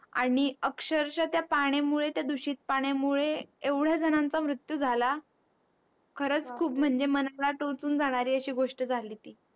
आणि अक्षरशः त्या पाण्यामुळे त्या दूषित पाण्यामुळे एवढ्या जणांचा मृत्यू झाला खरचं खूप म्हणजे मनाला टोचून जाणारी अशी गोष्ट झाली